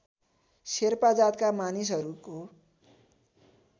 शेर्पा जातका मानिसहरूको